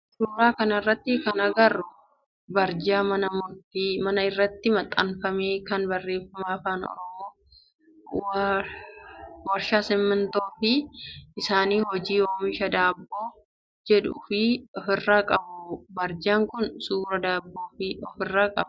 Suuraa kana irratti kan agarru barjaa mana irratti maxxanfame kan barreeffama afaan oromoo w/sh/ sintaayyoo fi h/isaanii hojii oomisha daabboo jedhu of irraa qabudha. Barjaan kun suuraa daabboo of irraa qaba.